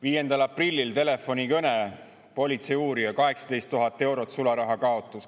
5. aprillil telefonikõne, politseiuurija, 18 000 eurot sularahakaotus.